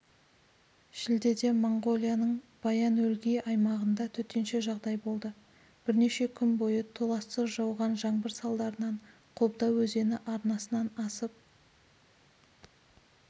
шілдеде моңғолияның баян-өлгий аймағында төтенше жағдай болды бірнеше күн бойы толассыз жауған жаңбырсалдарынан қобда өзені арнасынан асып